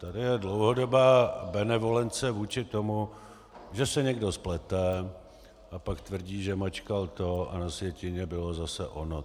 Tady je dlouhodobá benevolence vůči tomu, že se někdo splete, a pak tvrdí, že mačkal to a na sjetině bylo zase ono.